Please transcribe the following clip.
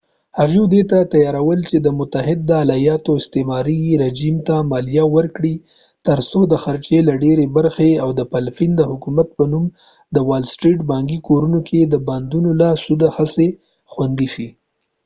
هغوی دې ته تیار ول چې د متحده ایالاتو استعماري رژیم ته مالیه ورکړي تر څو د خرچې له ډيرې برخې او د فلپین د حکومت په نوم د وال سټریټ بانکي کورونو کې د بانډونو له سود څخه خوندي شي